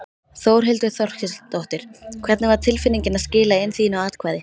Þórhildur Þorkelsdóttir: Hvernig var tilfinningin að skila inn þínu atkvæði?